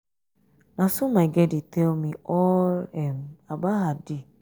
na so my girl dey tell me all um about her um day. um